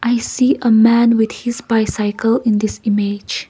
i see a man with his bicycle in this image.